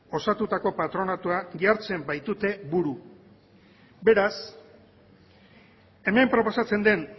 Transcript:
osatutako patronatua jartzen baitute buru beraz hemen proposatzen den